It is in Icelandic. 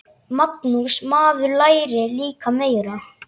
Magnús: Maður lærir líka meira.